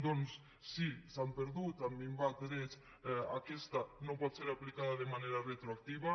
doncs si s’han perdut han minvat drets aquesta no pot ser aplicada de manera retroactiva